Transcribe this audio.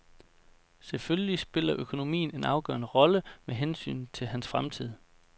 Selvfølgelig spiller økonomien en afgørende rolle med hensyn til hans fremtid.